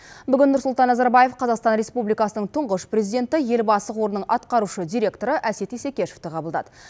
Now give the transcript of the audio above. бүгін нұрсұлтан назарбаев қазақстан республикасының тұңғыш президенті елбасы қорының атқарушы директоры әсет исекешевті қабылдады